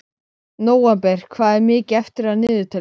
Nóvember, hvað er mikið eftir af niðurteljaranum?